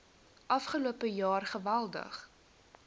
afgelope jaar geweldig